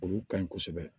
Olu ka ɲi kosɛbɛ